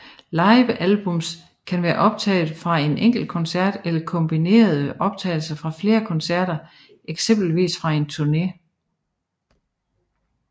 Livealbums kan være optaget fra en enkelt koncert eller kombinere optagelser fra flere koncerter eksempelvis fra en turne